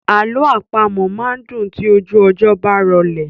Alọ àpamọ máa n dùn tí ojú ọjọ́ bá rọlẹ̀.